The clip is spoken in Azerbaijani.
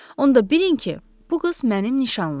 Onda bilin ki, bu qız mənim nişanlımdır.